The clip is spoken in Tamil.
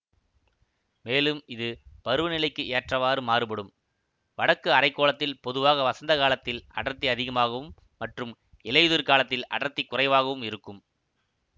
மேலும் இது பருவநிலைக்கு ஏற்றவாறு மாறுபடும் வடக்கு அரை கோளத்தில் பொதுவாக வசந்த காலத்தில் அடர்த்தி அதிகமாகவும் மற்றும் இலையுதிர் காலத்தில் அடர்த்தி குறைவாகவும் இருக்கும்